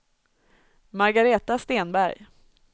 Margareta Stenberg